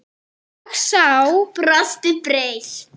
Og sá brosti breitt.